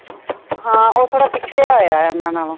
ਹਾਂ ਉਹ ਥੋੜਾ ਪਿਛੜਿਆ ਹੋਇਆ ਉਨ੍ਹਾਂ ਨਾਲੋਂ